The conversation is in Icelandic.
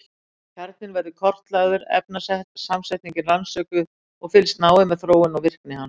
Kjarninn verður kortlagður, efnasamsetningin rannsökuð og fylgst náið með þróun og virkni hans.